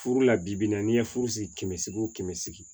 Furu la bi bi in na n'i ye furu sigi kɛmɛ seegin o kɛmɛ seegin